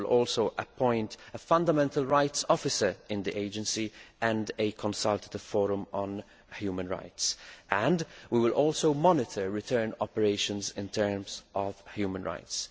We will also appoint a fundamental rights officer in the Agency and a consultative forum on human rights, and we will monitor return operations in terms of human rights.